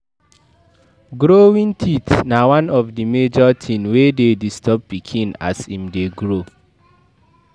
Growing teeth na one of the major thing wey de disturb pikin as him de grow